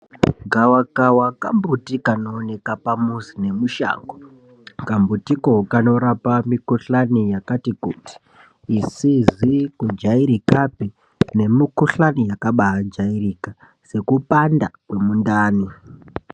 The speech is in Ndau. Gavakava kambuti kanooneka pamuzi nemushango. Kambutiko kanorapa mikhuhlani yakati kuti, isizi kujairikapi, nemikhuhlani yakabaajairika, sekupanda kwemundani.